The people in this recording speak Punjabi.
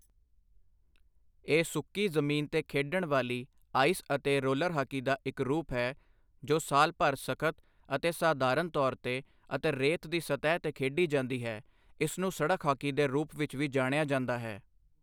ਇਹ ਸੁੱਕੀ ਜ਼ਮੀਨ ਤੇ ਖੇਡਣ ਵਾਲੀ, ਆਇਸ ਅਤੇ ਰੋਲਰ ਹਾਕੀ ਦਾ ਇੱਕ ਰੂਪ ਹੈ ਜੋ ਸਾਲ ਭਰ ਸਖ਼ਤ, ਅਤੇ ਸਾਧਾਰਨ ਤੋਰ ਤੇ ਅਤੇ ਰੇਤ ਦੀ ਸਤਹ ਤੇ ਖੇਡੀ ਜਾਂਦੀ ਹੈ, ਇਸਨੂੰ ਸੜਕ ਹਾਕੀ ਦੇ ਰੂਪ ਵਿੱਚ ਵੀ ਜਾਣਿਆ ਜਾਂਦਾ ਹੈI